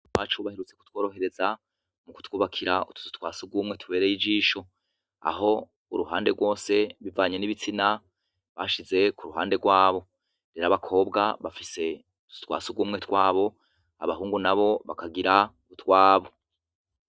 Mwarakoze kutworohereza mukutwubakira utuzu twa sugumwe tubereye ijisho, aho uruhande rwose bivanye nibistina bashize kuruhande rwabo. Abakobwa bafise utuzu twa sugumwe twabo, abahungu bakagira utwabo.